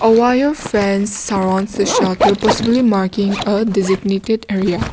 wire fence surrounds the possibly marking a designated area.